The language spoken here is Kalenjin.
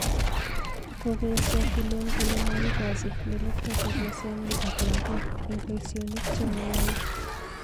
Kokoesyo Fillon kole maigachi melekto chebyosenyi ak lagook eng boisyonik che mayai